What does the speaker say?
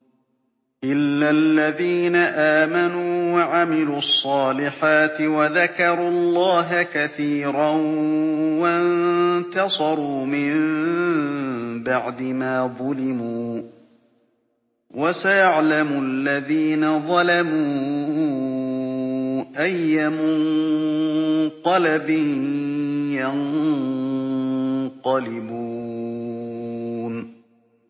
إِلَّا الَّذِينَ آمَنُوا وَعَمِلُوا الصَّالِحَاتِ وَذَكَرُوا اللَّهَ كَثِيرًا وَانتَصَرُوا مِن بَعْدِ مَا ظُلِمُوا ۗ وَسَيَعْلَمُ الَّذِينَ ظَلَمُوا أَيَّ مُنقَلَبٍ يَنقَلِبُونَ